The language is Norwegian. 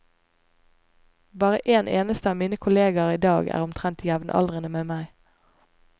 Bare en eneste av mine kolleger i dag er omtrent jevnaldrende med meg.